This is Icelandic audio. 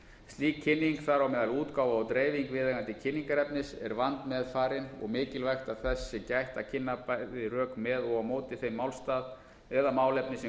slík kynning þar á meðal útgáfa og dreifing viðeigandi kynningarefnis er vandmeðfarin og mikilvægt að þess sé gætt að kynna bæði rök með og á móti þeim málstað eða málefni sem